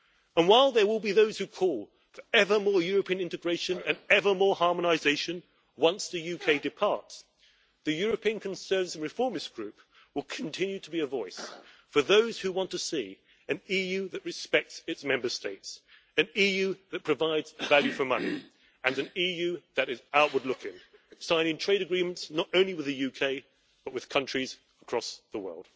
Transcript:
And while there will be those who call for evermore European integration and evermore harmonisation once the UK departs, the European Conservative and Reformist Group will continue to be a voice for those who want to see an EU that respects its Member States, an EU that provides value for money, and an EU that is outward looking, signing trade agreements not only with the UK, but with countries across the world.